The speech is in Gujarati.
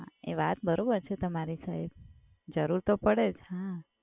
હા એ વાત બરોબર છે તમારી સાહેબ, જરુર તો પડે જ.